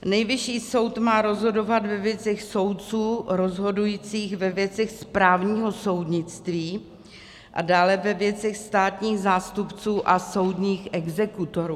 Nejvyšší soud má rozhodovat ve věcech soudců rozhodujících ve věcech správního soudnictví a dále ve věcech státních zástupců a soudních exekutorů.